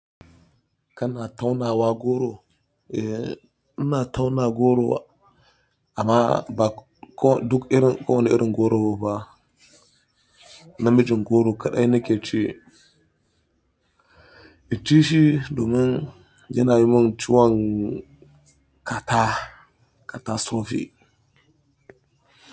Kana taunawa goro? Ina tauna goro amma ba duk irin kowane irin goro ba. Namijin goro kaɗai nake ci. In ci shi domin yana yi min ciwon kata, kata sofi.